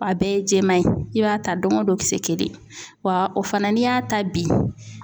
A bɛɛ ye jɛman ye i b'a ta don o don kisɛ kelen wa o fana n'i y'a ta bi